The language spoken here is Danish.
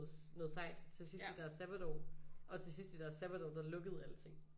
Noget sejt til sidst i deres sabbatår og til sidst i deres sabbatår der lukkede alting